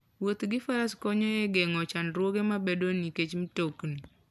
Wuoth gi faras konyo e geng'o chandruoge mabedoe nikech mtokni.